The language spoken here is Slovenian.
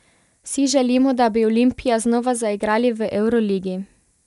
Vsi želimo, da bi Olimpija znova zaigrali v evroligi.